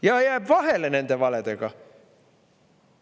Ja jääb vahele nende valedega.